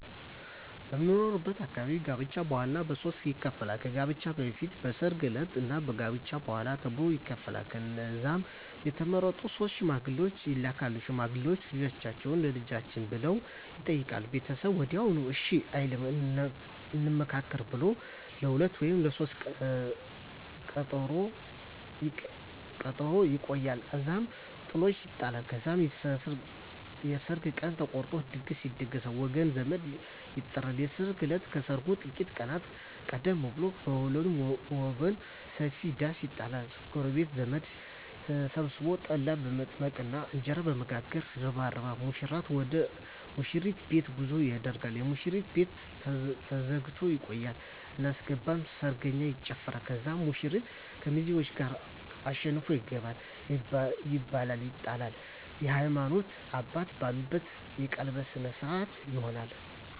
በምኖርበት አካባቢ ጋብቻ በዋናነት በሦስት ይከፈላል። ከጋብቻ በፊት፣ የሰርግ ዕለት እና ከጋብቻ በኋላ ተብሎ ይከፈላል። ከዛም የተመረጡ ሶስት ሽማግሌዎች ይላካሉ። ሽማግሌዎቹ "ልጃችሁን ለልጃችን" ብለው ይጠይቃሉ። ቤተሰብ ወዲያውኑ እሺ አይልም፤ "እንመካከርበት" ብለው ለሁለተኛ ወይም ለሦስተኛ ቀጠሮ ያቆያሉ። እዛም ጥሎሽ ይጣላል። ከዛም የሰርግ ቀን ተቆርጦ ድግስ ይደገሳል፣ ወገን ዘመድ ይጠራል። የሰርግ እለት ከሰርጉ ጥቂት ቀናት ቀደም ብሎ በሁለቱም ወገን ሰፊ ዳስ ይጣላል። ጎረቤትና ዘመድ ተሰብስቦ ጠላ በመጥመቅና እንጀራ በመጋገር ይረባረባል። ሙሽራው ወደ ሙሽሪት ቤት ጉዞ ያደርጋል። የሙሽሪት ቤት ተዘግቶ ይቆያል። አናስገባም ሰርገኛ ይጨፋራል። ከዛም ሙሽራው ከሚዜዎቹ ጋር አሸንፎ ይገባል። ይበላል ይጠጣል፣ የሀይማኖት አባት ባለበት የቀለበት ስነ ስሮአት ይሆናል